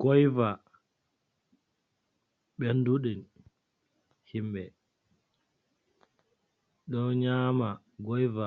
Goiva ɓenduɗi himɓe don nyama goiva